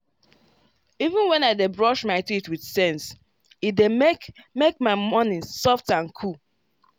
even when i dey brush my teeth with sense — e dey make make my morning soft and cool.